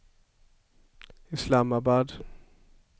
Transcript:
Islamabad